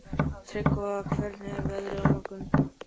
Tryggva, hvernig er veðrið á morgun?